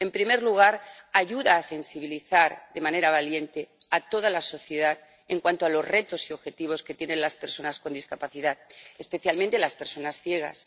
En primer lugar, ayuda a sensibilizar de manera valiente a toda la sociedad en cuanto a los retos y objetivos que tienen las personas con discapacidad, especialmente las personas ciegas.